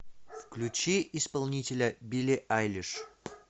включи исполнителя билли айлиш